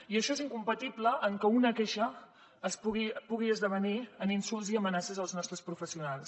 i això és incompatible amb el fet que una queixa pugui esdevenir en insults i amenaces als nostres professionals